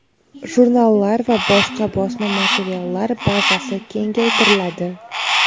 jurnallar va boshqa bosma materiallar bazasi kengaytiriladi.